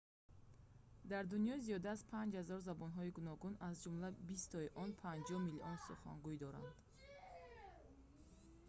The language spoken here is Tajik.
дар дунё зиёда аз 5 000 забонҳои гуногун аз ҷумла бистои он 50 миллион сухангӯй доранд